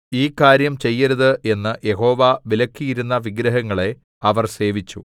ഈ കാര്യം ചെയ്യരുത് എന്ന് യഹോവ വിലക്കിയിരുന്ന വിഗ്രഹങ്ങളെ അവർ സേവിച്ചു